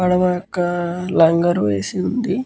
పడవ యొక్క లంగరు వేసి వుంది.